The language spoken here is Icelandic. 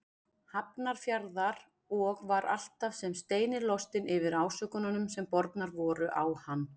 Hafnarfjarðar og var alltaf sem steinilostinn yfir ásökununum sem bornar voru á hann.